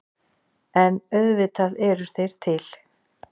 En auðvitað eru þeir til.